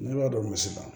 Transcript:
Ne b'a dɔn misi la